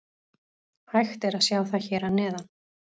Hægt er að sjá það hér að neðan.